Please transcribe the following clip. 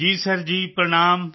ਜੀ ਸਰ ਜੀ ਪ੍ਰਣਾਮ